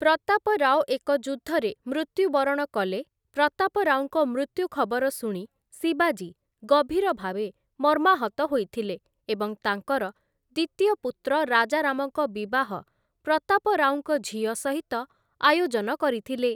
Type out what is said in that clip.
ପ୍ରତାପରାଓ ଏକ ଯୁଦ୍ଧରେ ମୃତ୍ୟୁବରଣ କଲେ ପ୍ରତାପରାଓଙ୍କ ମୃତ୍ୟୁ ଖବର ଶୁଣି ଶିବାଜୀ ଗଭୀର ଭାବେ ମର୍ମାହତ ହୋଇଥିଲେ ଏବଂ ତାଙ୍କର ଦ୍ୱିତୀୟ ପୁତ୍ର ରାଜାରାମଙ୍କ ବିବାହ ପ୍ରତାପରାଓଙ୍କ ଝିଅ ସହିତ ଆୟୋଜନ କରିଥିଲେ ।